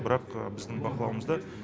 бірақ біздің бақылауымызда